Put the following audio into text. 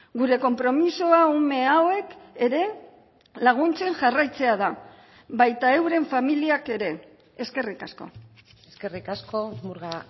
gure konpromisoa ume hauek ere laguntzen jarraitzea da baita euren familiak ere eskerrik asko eskerrik asko murga